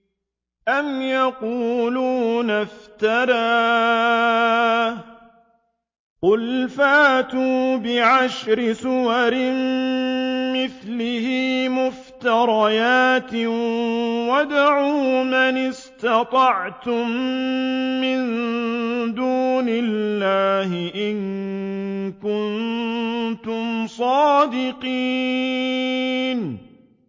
أَمْ يَقُولُونَ افْتَرَاهُ ۖ قُلْ فَأْتُوا بِعَشْرِ سُوَرٍ مِّثْلِهِ مُفْتَرَيَاتٍ وَادْعُوا مَنِ اسْتَطَعْتُم مِّن دُونِ اللَّهِ إِن كُنتُمْ صَادِقِينَ